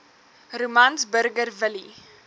romans burger willie